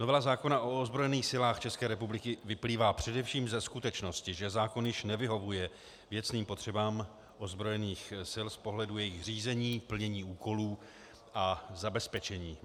Novela zákona o ozbrojených silách České republiky vyplývá především ze skutečnosti, že zákon již nevyhovuje věcným potřebám ozbrojených sil z pohledu jejich řízení, plnění úkolů a zabezpečení.